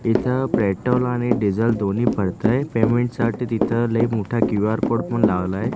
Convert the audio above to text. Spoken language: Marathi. इथं पेट्रोल आणि डिझेल दोन्ही पडतंय पेमेंटसाठी तिथं लई मोठा क्यू_आर कोड पण लावलायं.